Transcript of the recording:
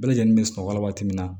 Bɛɛ lajɛlen bɛ sunɔgɔ la waati min na